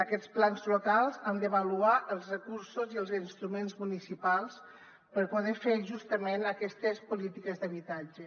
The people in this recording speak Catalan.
aquests plans locals han d’avaluar els recursos i els instruments municipals per poder fer justament aquestes polítiques d’habitatge